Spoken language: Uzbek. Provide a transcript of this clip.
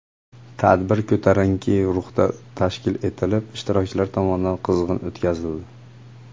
Tadbir ko‘tarinki ruhda tashkil etilib, ishtirokchilar tomonidan qizg‘in o‘tkazildi.